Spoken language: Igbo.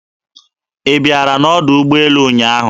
Ị bịara n'ọdọ ụgbọelu ụnyaahụ?